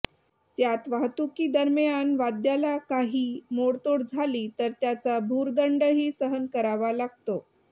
त्यात वाहतूकी दरम्यान वाद्याला काही मोडतोड झाली तर त्याचा भुर्दंडही सहन करावा लागतो